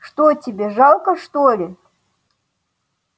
что тебе жалко что ли